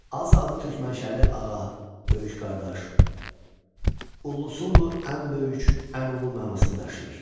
Azza adı türkmanşəli ağa, böyük qardaş, Ullusunu ən böyük, ən ulu mənasını daşıyır.